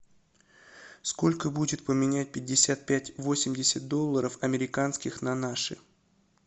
сколько будет поменять пятьдесят пять восемьдесят долларов американских на наши